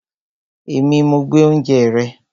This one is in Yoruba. Èmi, mo gbé oúnjẹ rẹ